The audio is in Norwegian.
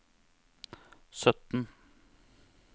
sytten